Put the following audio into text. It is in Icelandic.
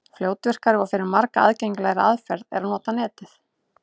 Fljótvirkari og fyrir marga aðgengilegri aðferð er að nota Netið.